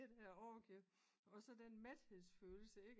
Det der orgie og sådan den mætheds følelse ikke